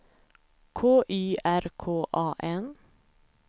K Y R K A N